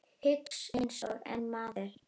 Hugsa einsog einn maður.